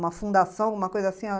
Uma fundação, alguma coisa assim?